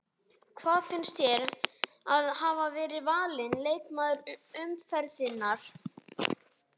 Hvað finnst þér um að hafa verið valin leikmaður umferðarinnar?